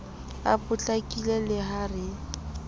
a potlakile le ha re